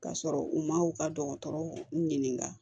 Ka sɔrɔ u ma u ka dɔgɔtɔrɔw ɲininka